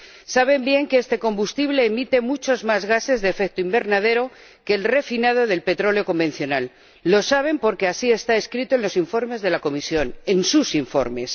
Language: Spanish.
Saben bien que este combustible emite muchos más gases de efecto invernadero que el refinado del petróleo convencional —lo saben porque así está escrito en los informes de la Comisión, en sus informes—.